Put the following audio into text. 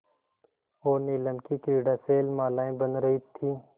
और नीलम की क्रीड़ा शैलमालाएँ बन रही थीं